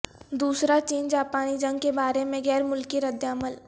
دوسرا چین جاپانی جنگ کے بارے میں غیر ملکی ردعمل